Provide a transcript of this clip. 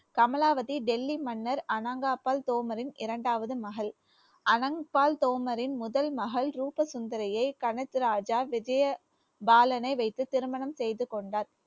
கமலாவதி டெல்லி மன்னர் அனங்காபாள் தோமரின் இரண்டாவது மகள் அனங்காள் தோமரின் முதல் மகள் ரூப சுந்தரியை கனத்து ராஜா விஜயபாலனை வைத்து திருமணம் செய்து கொண்டார்